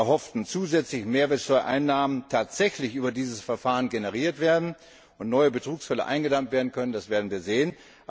Ob die erhofften zusätzlichen Mehrwertsteuereinnahmen tatsächlich über dieses Verfahren generiert und neue Betrugsfälle eingedämmt werden können, das werden wir sehen.